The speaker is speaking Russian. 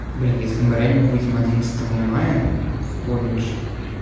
блин если мы выйдем одиннадцатого мая в колледж